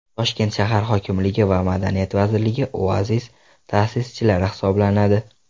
Toshkent shahar hokimligi va Madaniyat vazirligi Oasis ta’sischilari hisoblanadi.